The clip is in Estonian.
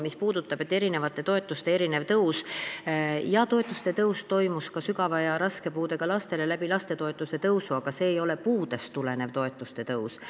Mis puudutab eri toetuste erinevat tõusu, siis jaa, ka sügava ja raske puudega laste toetused tõusid tänu lapsetoetuste tõusule, aga see ei olnud puudest tulenevate toetuste tõus.